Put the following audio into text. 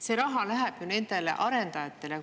See raha läheb ju nendele arendajatele.